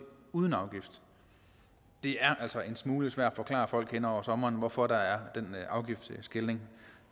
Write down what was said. uden afgift det er altså en smule svært at forklare folk hen over sommeren hvorfor der er den afgiftsskelnen